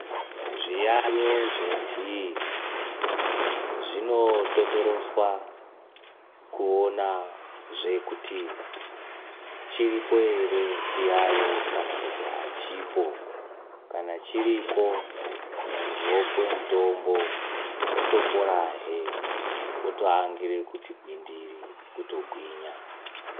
Zviyaiyo zvenhii zvinototoroswa, kuonazve kuti chiripo here chiyayo kana achipo, kana chiripo muntu opiwa mitombo otoporahe otoangira kuti gwindiri kutogwinya .